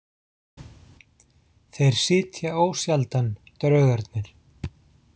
Þeir sitja ósjaldan, draugarnir.